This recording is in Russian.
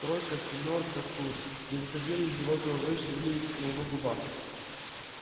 тройка семёрка туз не выходили из его головы и шевелились на его губах